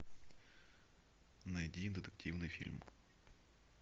найди детективный фильм